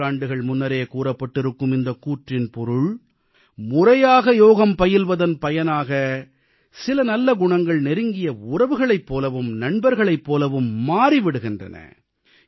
பல நூற்றாண்டுகள் முன்னரே கூறப்பட்டிருக்கும் இந்தக் கூற்றின் பொருள் முறையாக யோகம் பயில்வதன் பலனாக சில நல்ல குணங்கள் நெருங்கிய உறவுகளைப் போலவும் நண்பர்களைப் போலவும் மாறி விடுகின்றன